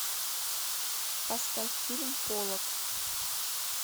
поставь фильм поллок